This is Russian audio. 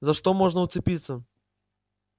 за что можно уцепиться